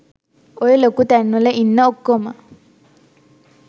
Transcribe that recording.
ඔය ලොකු තැන්වල ඉන්න ඔක්කොම